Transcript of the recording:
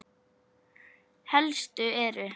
Helstu eru